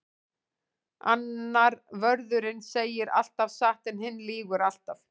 Annar vörðurinn segir alltaf satt en hinn lýgur alltaf.